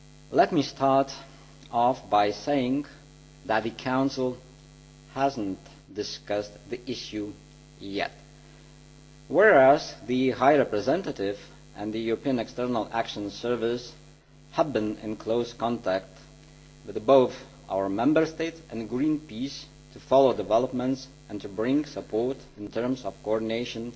Let me start off by saying that the Council has not yet discussed the issue, whereas the High Representative and the European External Action Service have been in close contact with our Member States and Greenpeace to follow developments and to bring support in terms of coordination